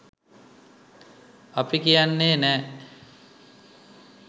අපි කියන්නේ නෑ